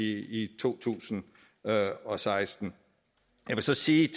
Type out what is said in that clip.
i to tusind og seksten jeg vil så sige